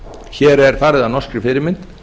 hér er farið að norskri fyrirmynd